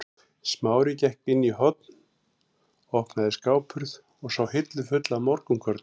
Smári gekk inn í horn, opnaði skáphurð og sá hillu fulla af morgunkorni.